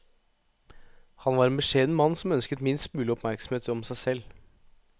Han var en beskjeden mann som ønsket minst mulig oppmerksomhet om seg selv.